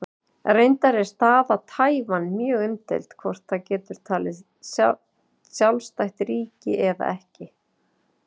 Reyndar er staða Taívan mjög umdeild, hvort það getur talið sjálfstætt ríki eða ekki.